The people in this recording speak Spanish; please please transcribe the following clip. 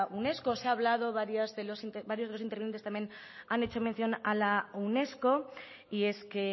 unesco se ha hablado varios de los intervinientes también han hecho mención a la unesco y es que